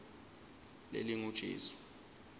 lelingujesu